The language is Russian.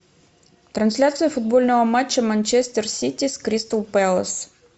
трансляция футбольного матча манчестер сити с кристал пэлас